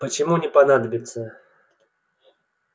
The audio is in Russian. почему не понадобится